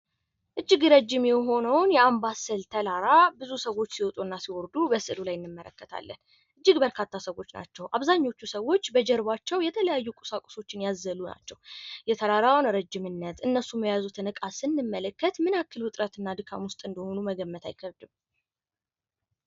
እጅግ ረጅም የሆነውን የአምባሰል ተራራ ብዙ ሰዎች ሲወጡና ሲወርዱ በስዕሉ ላይ እንመለከታለን ። እጅግ በርካታ ሰዎች ናቸው። አብዛኛዎቹ ሰዎች በጀርባቸው የተለያዩ ቁሳቁሶችን ያዘሉ ናቸው። የተራራ ረጅምነት እነሱም የያዙትን እቃ ስንመለከት ምን ያክል ውጥረትና ድካም ውስጥ እንደሆኑ መገመት አይከብድም።